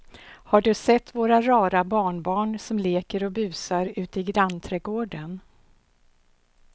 Har du sett våra rara barnbarn som leker och busar ute i grannträdgården!